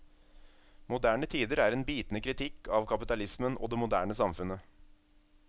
Moderne tider er en bitende kritikk av kapitalismen og det moderne samfunnet.